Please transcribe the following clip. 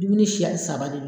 Dumunni siya saba de do